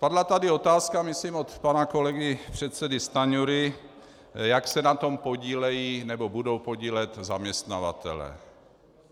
Padla tady otázka, myslím od pana kolegy předsedy Stanjury, jak se na tom podílejí nebo budou podílet zaměstnavatelé.